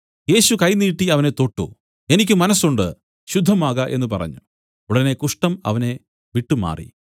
യേശു കൈ നീട്ടി അവനെ തൊട്ടു എനിക്ക് മനസ്സുണ്ട് ശുദ്ധമാക എന്നു പറഞ്ഞു ഉടനെ കുഷ്ഠം അവനെ വിട്ടുമാറി